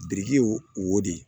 Biriki y'o de ye